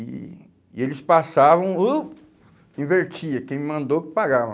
E e eles passavam, uh, invertia, quem mandou pagava.